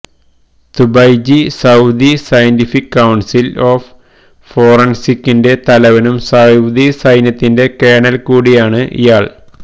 തുബൈജി Saudi scientific council of ഫോറൻസികിന്റെ തലവനും Saudi സൈന്യത്തിൽ കേണൽ കൂടിയാണ് ഇയാൾ